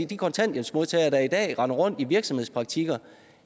de kontanthjælpsmodtagere der i dag render rundt i virksomhedspraktik